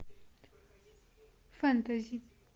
фэнтези